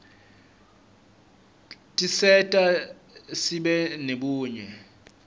tiserta sibe nebunye